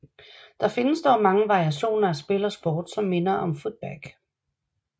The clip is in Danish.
Der findes dog mange variationer af spil og sport som minder om Footbag